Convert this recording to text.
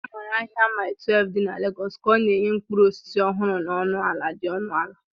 A maara ahia Mile 12 di na Lagos ka ọ na-enye mkpụrụ osisi ọhụrụ na ọnụ ala dị ọnụ ala.